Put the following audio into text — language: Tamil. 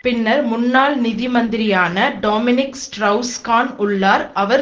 பின்னர் முன்னாள் நிதி மந்திரியான டாமினிக் ஸ்ட்ரவுஸ் கான் உள்ளார் அவர்